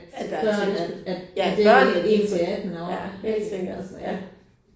At der er tilskud ja børnene de kan få, ja helt sikkert